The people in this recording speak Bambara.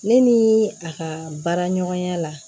Ne ni a ka baara ɲɔgɔnya la